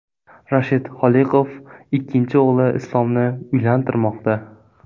Rashid Holiqov ikkinchi o‘g‘li Islomni uylantirmoqda.